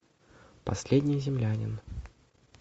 последний землянин